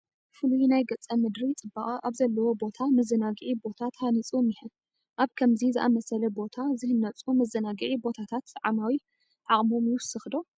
ፍሉይ ናይ ገፀ ምድሪ ፅባቐ ኣብ ዘለዎ ቦታ መዘናግዒ ቦታ ተሃኒፁ እኒሀ፡፡ ኣብ ከምዚ ዝኣምሰለ ቦታ ዝህነፁ መዘናግዒ ቦታታት ዓማዊል ዓቕሞም ይውስኽ ዶ?